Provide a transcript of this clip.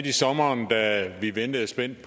at læse det